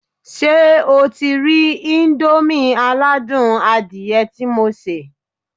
Ṣé o ti rí íńdómì aládùn adìyẹ tí mo sè?